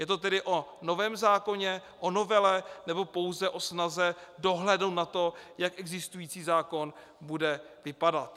Je to tedy o novém zákoně, o novele, nebo pouze o snaze dohlédnout na to, jak existující zákon bude vypadat?